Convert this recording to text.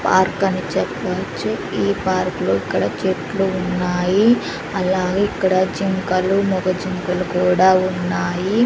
Park అని చెప్పొచ్చు ఈ పార్క్ లో ఇక్కడ చెట్లు ఉన్నాయి అలాగే ఇక్కడ జింకలు మొగ జింకలు కూడా ఉన్నాయి.